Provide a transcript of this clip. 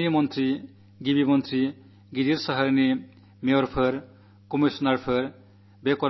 രാജ്യമെങ്ങും നിന്നുള്ള മന്ത്രിമാരും മുഖ്യമന്ത്രിമാരും മഹാനഗരങ്ങളിൽ നിന്നുള്ള മേയർമാരും കമ്മീഷണർമാരും എല്ലാം